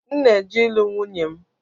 M na eje ilu nwunye m